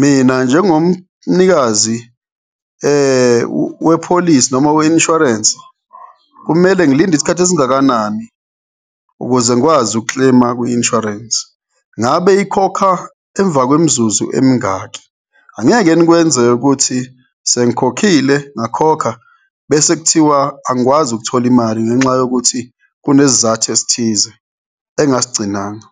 mina njengomnikazi wepholisi noma we-insurance kumele ngilinde isikhathi esingakanani ukuze ngikwazi uku-claim-a kwi-insurance? Ngabe ikhokha emva kwemizuzu emingaki? Angeke nikwenze ukuthi sengikhokhile ngakhokha bese kuthiwa angikwazi ukuthola imali ngenxa yokuthi kunesizathu esithize engingasigcinanga?